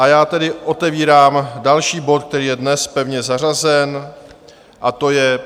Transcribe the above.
A já tedy otevírám další bod, který je dnes pevně zařazen, a to je